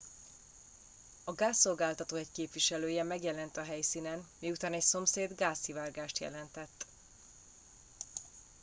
a gázszolgáltató egy képviselője megjelent a helyszínen miután egy szomszéd gázszivárgást jelentett